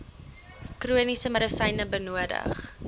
chroniese medisyne benodig